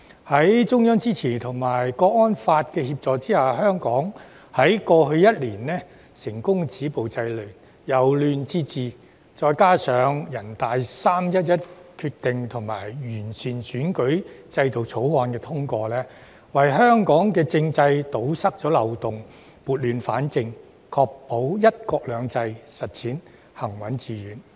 在中央支持及《香港國安法》的協助下，香港過去一年成功止暴制亂、由亂至治，再加上全國人民代表大會的"三一一"決定及《2021年完善選舉制度條例》獲得通過，為香港政制堵塞漏洞、撥亂反正，確保"一國兩制"行穩致遠。